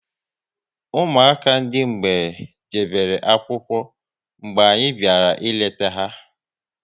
Ụmụaka ndị mgbei jebere akwụkwọ mgbe anyị bịara ịleta ha